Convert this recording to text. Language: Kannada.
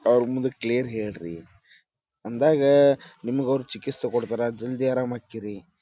ಅವ್ರ್ ಮುಂದ ಕ್ಲಿಯರ್ ಹೇಳ್ರಿ ಅಂದಾಗ ಅವರು ನಿಮ್ಗ ಚಿಕಿಸ್ತ್ ಕೊಡ್ತಾರ ಜಲ್ದಿ ಅರಾಮ್ ಆಕ್ಕೀರಿ.